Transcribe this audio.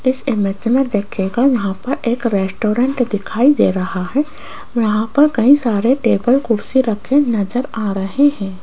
इस इमेज में देखिएगा यहां पर एक रेस्टोरेंट दिखाई दे रहा है यहां पर कई सारे टेबल कुर्सी रखे नजर आ रहे हैं।